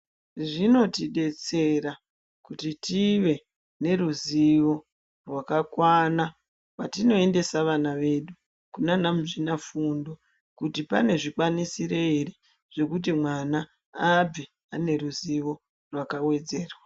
Zvinotidetsera kuti tive neruzivo rwakakwana, patinoendesa vana vedu kunaana muzvinafundo, kuti pane zvikwanisiro ere zvekuti mwana abve ane ruzivo rwakawedzerwa.